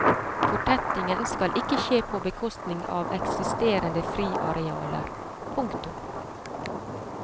Fortettingen skal ikke skje på bekostning av eksisterende friarealer. punktum